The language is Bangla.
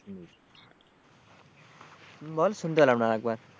বল শুনতে পেলাম না আর একবার?